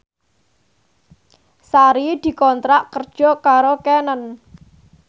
Sari dikontrak kerja karo Canon